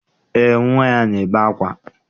Eé, nnwa ya na-ebe ákwá.